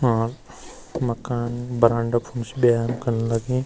और मकान बरांडा फुंस व्यायाम कण लगीं।